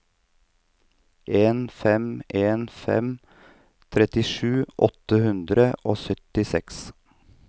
en fem en fem trettisju åtte hundre og syttiseks